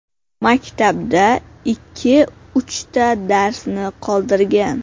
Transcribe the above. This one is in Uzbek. Maktabda ikki-uchta darsni qoldirgan.